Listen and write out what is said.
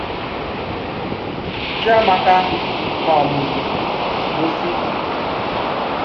Chíàmákà um gósí.